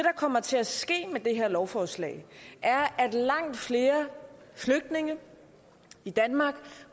kommer til at ske med det her lovforslag er at langt flere flygtninge i danmark